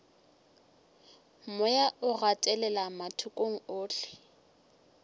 moya o gatelela mathokong ohle